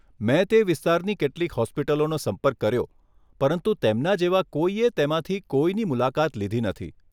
મેં તે વિસ્તારની કેટલીક હોસ્પિટલોનો સંપર્ક કર્યો પરંતુ તેમના જેવા કોઈએ તેમાંથી કોઈની મુલાકાત લીધી નથી.